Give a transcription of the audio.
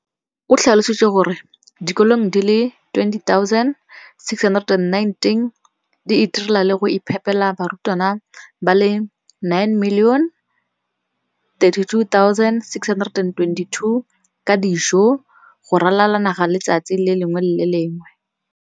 O tlhalositse gore dikolo di le 20 619 di itirela le go iphepela barutwana ba le 9 032 622 ka dijo go ralala naga letsatsi le lengwe le le lengwe.